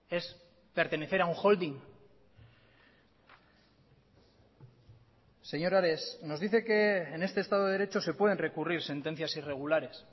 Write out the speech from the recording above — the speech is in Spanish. es pertenecer a un holding señor ares nos dice que en este estado de derecho se pueden recurrir sentencias irregulares